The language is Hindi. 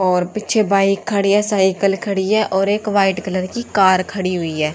और पीछे बाइक खड़ी है साइकिल खड़ी है और एक वाइट कलर की कार खड़ी हुई है।